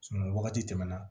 wagati tɛmɛna